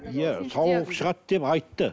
иә сауығып шығады деп айтты